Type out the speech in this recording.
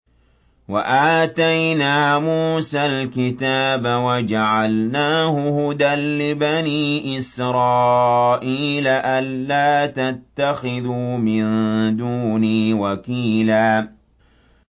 وَآتَيْنَا مُوسَى الْكِتَابَ وَجَعَلْنَاهُ هُدًى لِّبَنِي إِسْرَائِيلَ أَلَّا تَتَّخِذُوا مِن دُونِي وَكِيلًا